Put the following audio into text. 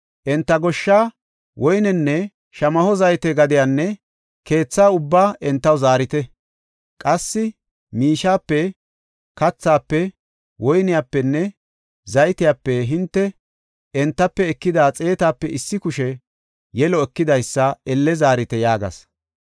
Enta goshsha, woynenne shamaho zayte gadiyanne keethaa ubbaa entaw zaarite. Qassi miishepe, kathafe, woynepenne zaytepe hinte entafe ekida xeetape issi kushe yelo ekidaysa elle zaarite” yaagas.